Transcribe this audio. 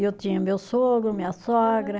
E eu tinha o meu sogro, minha sogra.